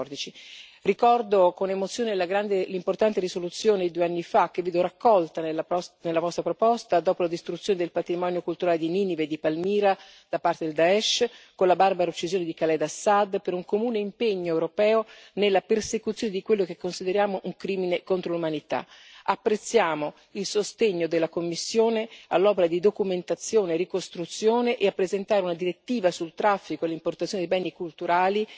2014. Ricordo con emozione l'importante risoluzione di due anni fa, che vedo raccolta nella vostra proposta, dopo la distruzione del patrimonio culturale di Ninive e di Palmira da parte del Daesh, con la barbara uccisione di Khaled al Asaad, per un comune impegno europeo nella persecuzione di quello che consideriamo un crimine contro l'umanità. Apprezziamo il sostegno della Commissione all'opera di documentazione e ricostruzione, e l'impegno a presentare una direttiva sul traffico e l'importazione dei beni culturali